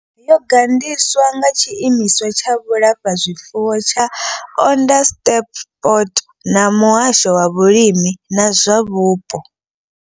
Yo gandiswa nga tshiimiswa tsha vhulafhazwifuwo tsha Onderstepoort na muhasho wa vhulimi na zwa vhupo.